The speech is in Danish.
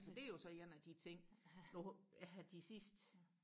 det er jo så en af de ting nu her de sidste